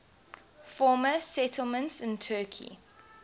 former settlements in turkey